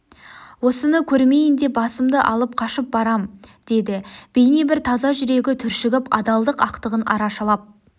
осыны көрмейін деп басымды алып қашып барам деді бейне бір таза жүрегі түршігіп адалдық ақтығын арашалап